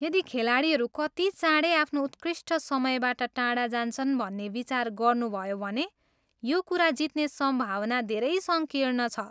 यदि खेलाडीहरू कति चाँडै आफ्नो उत्कृष्ट समयबाट टाढा जान्छन् भन्ने विचार गर्नुभयो भने यो कुरा जित्ने सम्भावना धेरै सङ्कीर्ण छ।